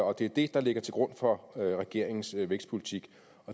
og det er det der ligger til grund for regeringens vækstpolitik